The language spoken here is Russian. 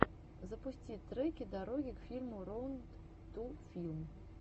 запусти треки дороги к фильму роуд ту филм